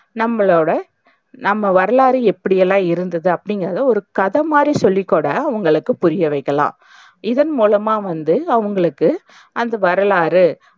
நம்மளோட நம்ம வரலாறு எப்படியெல்லாம் இருந்தது அப்டிங்கிறத, ஒரு கதை மாறி சொல்லிக்கூட அவங்களுக்கு புரியவைக்கலாம். இதன் மூலமா வந்து அவங்களுக்கு அந்த வரலாறு,